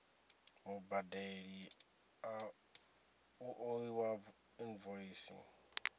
mubadeli u ḓo ṋewa invoice